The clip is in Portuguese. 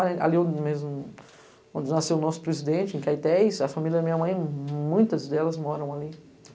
Ali onde nasceu o nosso presidente, em Caités, a família da minha mãe, muitas delas moram ali.